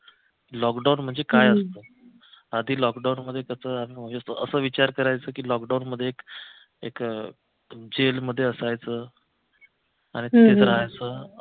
lockdown म्हणजे काय असतं आधी लॉकडाऊनमध्ये कस असा विचार करायचो की लॉकडाऊनमध्ये एक एक jail मध्ये असायचं आणि तिथेच राहायचं